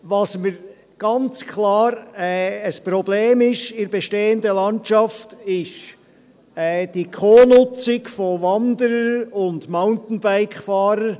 Was ganz klar ein Problem ist in der bestehenden Landschaft, ist die Co-Nutzung von Wanderern und Mountainbike-Fahrern.